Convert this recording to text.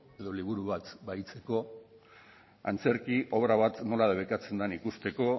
edo liburu bat bahitzeko antzerki obra bat nola debekatzen den ikusteko